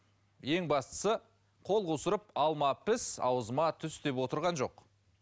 ең бастысы қол қусырып алма піс аузыма түс деп отырған жоқ